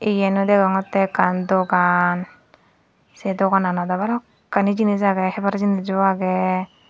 eyan degongote ekkan dogan se dogananot do balukani jinich agey hebaar jinijo agey.